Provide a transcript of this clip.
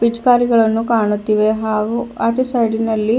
ಪಿಚ್ಕಾರಿಗಳನ್ನು ಕಾಣುತ್ತಿವೆ ಹಾಗೂ ಆಚಿ ಸೈಡಿನಲ್ಲಿ--